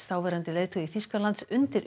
þáverandi leiðtogi Þýskalands undir